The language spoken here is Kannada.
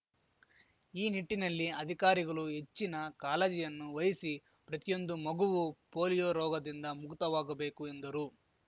ಈ ನಿಟ್ಟಿನಲ್ಲಿ ಅಧಿಕಾರಿಗಲು ಹೆಚ್ಚಿನ ಕಾಲಜಿಯನ್ನು ವಹಿಸಿ ಪ್ರತಿಯೊಂದು ಮಗುವೂ ಪೋಲಿಯೋ ರೋಗದಿಂದ ಮುಕ್ತವಾಗಬೇಕು ಎಂದರು